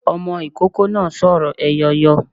Ọmọ ikoko náá sórò eyọyọ